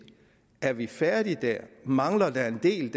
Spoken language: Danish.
er vi færdige der eller mangler der en del